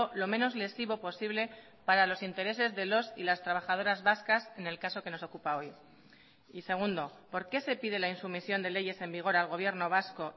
lo menos lesivo posible para los intereses de los y las trabajadoras vascas en el caso que nos ocupa hoy y segundo por qué se pide la insumisión de leyes en vigor al gobierno vasco